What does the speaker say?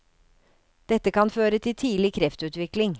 Dette kan føre til tidlig kreftutvikling.